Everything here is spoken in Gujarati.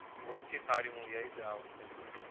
ઓછી સારી movie આવી છે આ વખતે